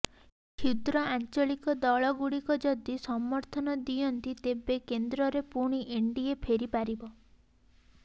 କ୍ଷୁଦ୍ର ଆଞ୍ଚଳିକ ଦଳଗୁଡ଼ିକ ଯଦି ସମର୍ଥନ ଦିଅନ୍ତି ତେବେ କେନ୍ଦ୍ରରେ ପୁଣି ଏନ୍ଡିଏ ଫେରିପାରିବ